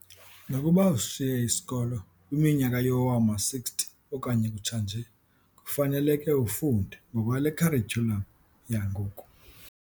Nokuba usishiye isikolo kwiminyaka yowama-60 okanye kutsha nje, kufaneleke ufunde ngokwale kharityulam yangoku.